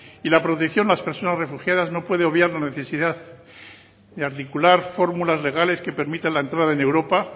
y la protección a las personas refugiadas no puede obviar la necesidad de articular fórmulas legales que permitan la entrada en europa